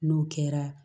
N'o kɛra